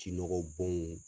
Ji nɔgɔ bɔnw